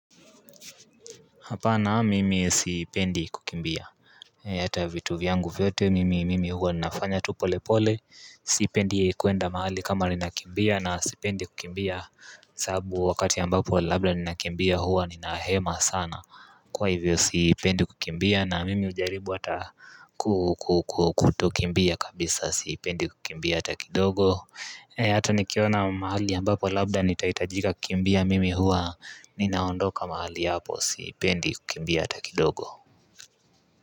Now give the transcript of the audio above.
Hapana mimi sipendi kukimbia Hata vitu vyangu vyote mimi mimi huwa ninafanya tu polepole Sipendi kuenda mahali kama ninakimbia na sipendi kukimbia sababu wakati ambapo labda ninakimbia huwa ninahema sana Kwa hivyo sipendi kukimbia na mimi hujaribu hata kutokimbia kabisa sipendi kukimbia hata kidogo Hata nikiona mahali ambapo labda nitahitajika kumbia mimi huwa Ninaondoka mahali hapo siipendi kukimbia hata kidogo.